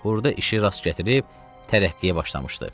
Burda işi rast gətirib tərəqqiyə başlamışdı.